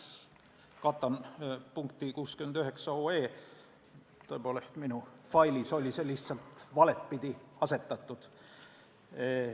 –, see on otsuse eelnõu nr 69, tõepoolest, minu failis oli see lihtsalt valepidi asetatud.